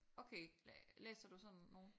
Okay læser du sådan nogle?